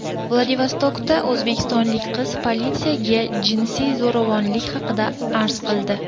Vladivostokda o‘zbekistonlik qiz politsiyaga jinsiy zo‘ravonlik haqida arz qildi.